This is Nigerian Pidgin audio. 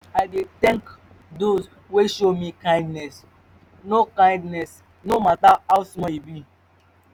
i dey tank dose wey show me kindness no kindness no mata how small e be